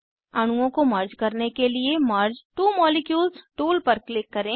अणुओं को मर्ज करने के लिए मर्ज त्वो मॉलिक्यूल्स टूल पर क्लिक करें